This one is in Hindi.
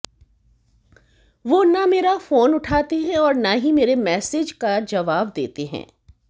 वो न मेरा फोन उठाते और न ही मेरे मैसेज का जवाब देते